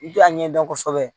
I t'a ɲɛdɔn kosɛbɛ